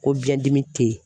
Ko biɲɛdimi te yen.